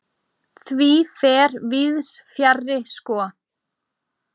Því fer víðs fjarri sko.